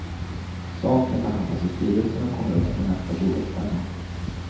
Saken behandlas i styrelsen och kommer upp på nästa bolagsstämma.